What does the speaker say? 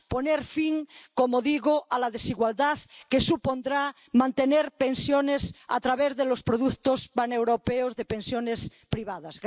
poner fin —como digo— a la desigualdad que supondrá mantener pensiones a través de los productos paneuropeos de pensiones privadas.